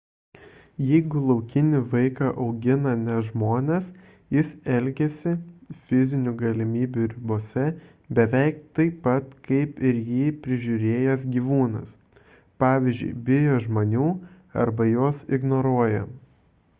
jeigu laukinį vaiką augina ne žmonės jis elgiasi fizinių galimybių ribose beveik taip pat kaip ir jį prižiūrėjęs gyvūnas pavyzdžiui bijo žmonių arba juos ignoruoja